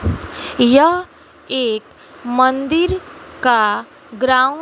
यह एक मंदिर का ग्राउंड --